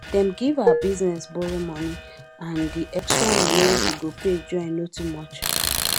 dem give her business borrowmoney and the extra money wey she go pay join no too much